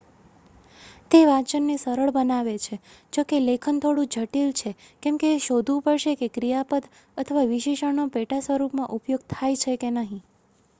તે વાંચનને સરળ બનાવે છે જોકે લેખન થોડું જટિલ છે કેમકે એ શોધવું પડશે કે ક્રિયાપદ અથવા વિશેષણનો પેટાસ્વરૂપમાં ઉપયોગ થાય છે કે નહીં